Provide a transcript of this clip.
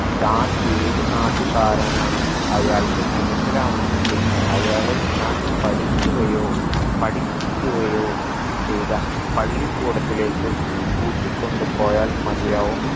താൻ ഏതു നാട്ടുകാരനാണെന്ന് അയാൾക്ക് മനസിലാവണമെങ്കിൽ അയാളെ താൻ പഠിക്കുകയോ പഠിപ്പിക്കുകയോ ചെയ്ത പള്ളിക്കൂടത്തിലേക്ക് കൂട്ടിക്കൊണ്ടുപോയാൽ മതിയാവും